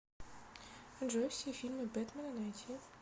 джой все фильмы бетмена найти